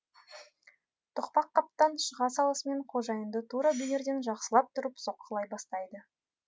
тоқпақ қаптан шыға салысымен қожайынды тура бүйірден жақсылап тұрып соққылай бастайды